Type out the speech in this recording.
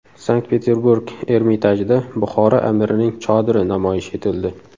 Sankt-Peterburg Ermitajida Buxoro amirining chodiri namoyish etildi.